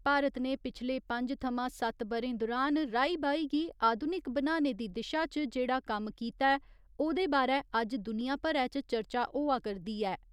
भारत ने पिछले पंज थमां सत्त ब'रें दुरान राई बाई गी आधुनिक बनाने दी दिशा च जेहड़ा कम्म कीता ऐ, ओह्दे बारै अज्ज दुनिया भरै च चर्चा होआ करदी ऐ।